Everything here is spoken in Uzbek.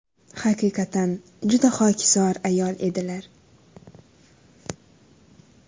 Haqiqatan, juda xokisor ayol edilar.